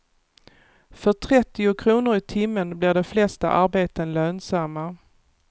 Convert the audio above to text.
För trettio kronor i timmen blir de flesta arbeten lönsamma.